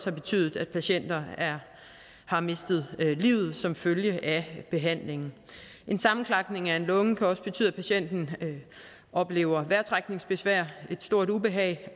har betydet at patienter har mistet livet som følge af behandlingen en sammenklapning af en lunge kan også betyde at patienten oplever vejrtrækningsbesvær og et stort ubehag